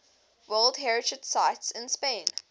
world heritage sites in spain